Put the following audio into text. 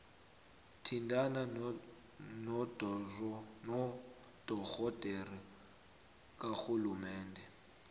thintana nodorhodere karhulumende